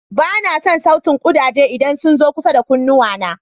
Ba na son sautin ƙudaje idan sun zo kusa da kunnuwana.